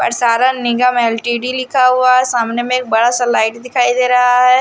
पारसारन निगम एल_टी_डी लिखा हुआ सामने में एक बड़ा सा लाइट दिखाई दे रहा है।